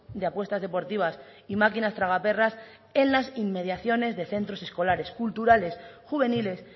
de apuestas deportivas y máquinas tragaperras en las inmediaciones de centros escolares culturales juveniles